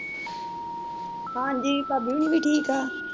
ਹਾਂਜੀ ਭਾਬੀ ਹੋਰਿ ਵੀ ਠੀਕ ਏ